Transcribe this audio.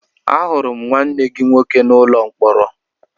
Ahụrụ m nwanne gị nwoke n'ụlọ mkpọrọ